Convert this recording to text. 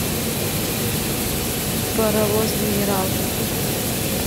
паровоз генерал